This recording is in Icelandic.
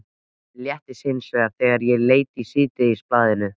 Mér létti hins vegar þegar ég leit í síðdegisblaðið.